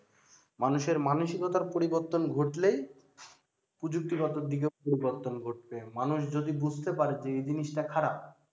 মানুষের মানসিকতা পরিবর্তন ঘটলে প্রযুক্তি গত দিকেও পরিবর্তন ঘটবে মানুষ যদি বুঝতে পারে যে জিনিস টা খারাপ